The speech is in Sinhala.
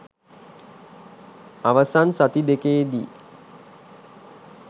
අවසන් සති දෙකේදී